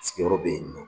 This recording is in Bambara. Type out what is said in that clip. Sigiyɔrɔ bɛ yen nɔ